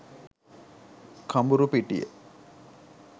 kamburupitiya